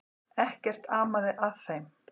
Ekkert amaði að þeim.